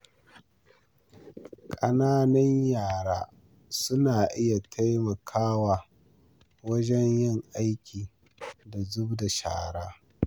Ƙananan yara suna iya taimakawa wajen yin aike da zubda shara.